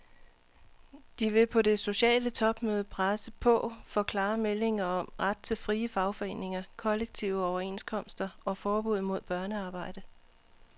De vil på det sociale topmøde presse på for klare meldinger om ret til frie fagforeninger, kollektive overenskomster og forbud mod børnearbejde.